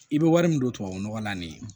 I bɛ wari min don tubabunɔgɔ la nin ye